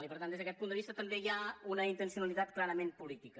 i per tant des d’aquest punt de vista també hi ha una intencionalitat clarament política